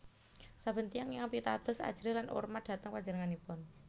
Saben tiyang ingkang pitados ajrih lan urmat dhateng panjenenganipun